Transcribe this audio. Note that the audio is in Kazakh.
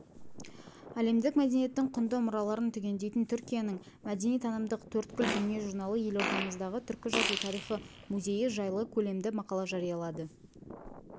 әлемдік мәдениеттің құнды мұраларын түгендейтін түркияның мәдени-танымдық төрткүл дүние журналы елордамыздағы түркі жазу тарихы музейі жайлы көлемді мақала жариялады